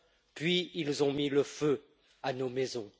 Puis, ils ont mis le feu à nos maisons.